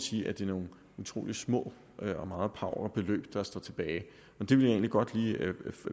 sige at det er nogle utrolig små og meget pauvre beløb der står tilbage jeg vil egentlig godt lige